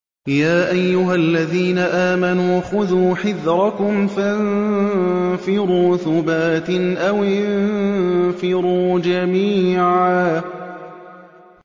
يَا أَيُّهَا الَّذِينَ آمَنُوا خُذُوا حِذْرَكُمْ فَانفِرُوا ثُبَاتٍ أَوِ انفِرُوا جَمِيعًا